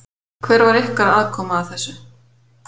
Hver var ykkar aðkoma að þessu?